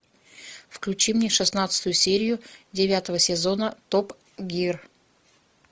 включи мне шестнадцатую серию девятого сезона топ гир